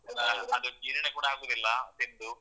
ಆ ಅದು ಜೀರ್ಣ ಕೂಡ ಆಗುದಿಲ್ಲ ತಿಂದು.